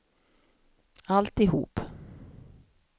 alltihop